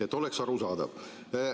Et oleks arusaadav.